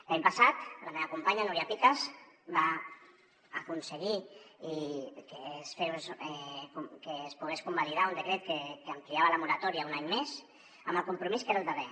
l’any passat la meva companya núria picas va aconseguir que es pogués convalidar un decret que ampliava la moratòria un any més amb el compromís que era el darrer